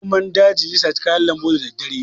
Zomon daji zai sata kayan lambu da daddare.